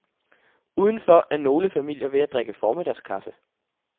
Udenfor er nogle familier ved at drikke formiddagskaffe.